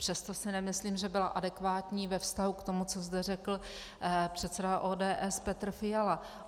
Přesto si nemyslím, že byla adekvátní ve vztahu k tomu, co zde řekl předseda ODS Petr Fiala.